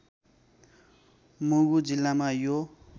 मुगु जिल्लामा यो